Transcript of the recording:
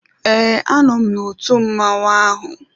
Ee, a nọ m na otu mmọnwụ ahụ.